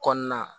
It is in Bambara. Kɔnɔna